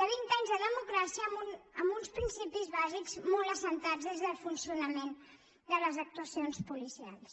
de vint anys de democràcia amb uns principis bàsics molt assentats des del funcionament de les actuacions policials